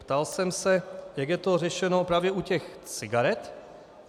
Ptal jsem se, jak je to řešeno právě u těch cigaret.